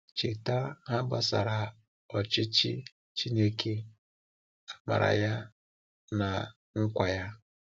Cheta ha gbasara ọchịchị Chineke, amara ya na nkwa ya.